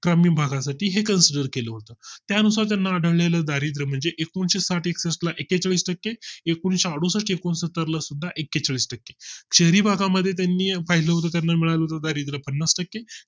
ग्रामीण भागा साठी हे Consider सुरू केलं होतं त्यानुसार त्यांना आढळेल दारिद्य म्हणजे एकनशेसाठ एकसष्ठ ला एक्केचाळीस टक्के आणि एकूणशे एकोणसत्तर सुद्धा एकेचाळीस टक्के शहरी भागा मध्ये त्यांनी पाहिल्या होते तेव्हा त्याना मिळालेले दारिद्य पन्नास टक्के